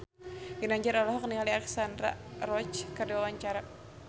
Ginanjar olohok ningali Alexandra Roach keur diwawancara